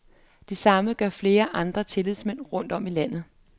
Det samme gør flere andre tillidsmænd rundt om i landet.